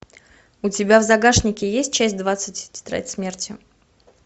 у тебя в загашнике есть часть двадцать тетрадь смерти